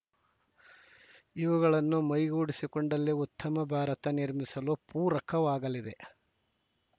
ಇವುಗಳನ್ನು ಮೈಗೂಡಿಸಿಕೊಂಡಲ್ಲಿ ಉತ್ತಮ ಭಾರತ ನಿರ್ಮಿಸಲು ಪೂರಕವಾಗಲಿದೆ